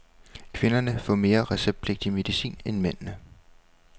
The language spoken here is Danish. Kvinderne får mere receptpligtig medicin end mændene.